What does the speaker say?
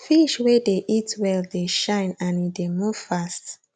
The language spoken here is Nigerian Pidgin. fish wey dey eat well dey shine and e dey move fast